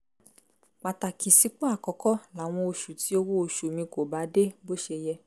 pàtàkì sípò àkọ́kọ́ láwọn oṣù tí owó oṣù mi kò bá dé bó ṣe yẹ